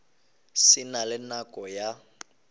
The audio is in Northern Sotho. se na le nako ya